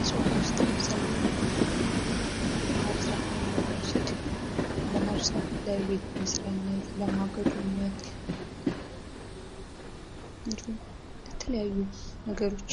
እፅዋት ውስጥ ለምሳሌ ባህር ዛፍን ብንወስድ ባህር ዛፍ ለቤት መስሪያነት ፥ ለማገዶነት እንዲሁም ለተለያዩ ነገሮች